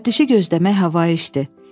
Müfəttişi gözləmək havayı işdir.